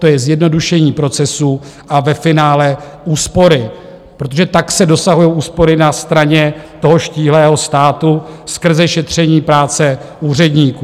To je zjednodušení procesů a ve finále úspory, protože tak se dosahují úspory na straně toho štíhlého státu skrze šetření práce úředníků.